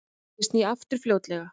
Ég sný aftur fljótlega.